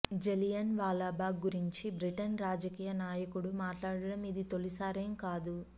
జలియన్ వాలాబాగ్ గురించి బ్రిటన్ రాజకీయ నాయకుడు మాట్లాడడం ఇది తొలిసారేం కాదు